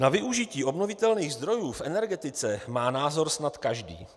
Na využití obnovitelných zdrojů v energetice má názor snad každý.